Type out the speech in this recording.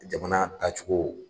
Jamana taacogo.